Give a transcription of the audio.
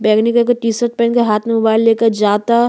बैगनी कलर के T shirt पहिनले हाथ में मोबाईल लेके जाता।